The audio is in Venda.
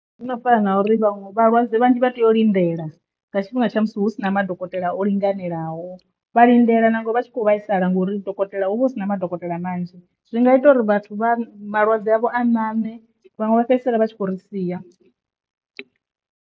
Zwi no fana na uri vhaṅwe vhalwadze vhanzhi vha tea u lindela nga tshifhinga tsha musi hu si na madokotela o linganelaho vha lindela nangwe vha tshi kho vhaisala ngori dokotela hu vha hu si na madokotela manzhi zwi nga ita uri vhathu vha malwadze a ṋaṋe vhaṅwe vha fhedzisela vha tshi khou ri sia.